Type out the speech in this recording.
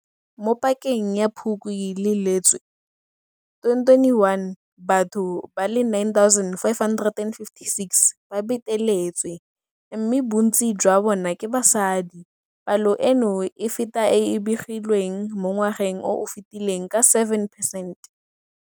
Mo pakeng ya Phukwi le Lwetse 2021, batho ba le 9 556 ba beteletswe, mme bontsi jwa bona ke basadi. Palo eno e feta e e begilweng mo ngwageng o o fetileng ka 7 percent.